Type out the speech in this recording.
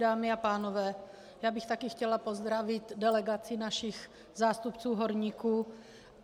Dámy a pánové, já bych také chtěla pozdravit delegaci našich zástupců horníků.